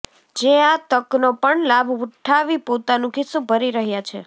જે આ તકનો પણ લાભ ઉઠાવી પોતાનું ખીસ્સુ ભરી રહ્યા છે